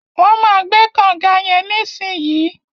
Wọn má gbẹ̀ kọ̀nga yẹn nisinyi.